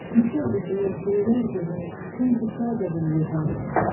Meşə qızıl, göylər gümüş, sanki çay da billurdandır.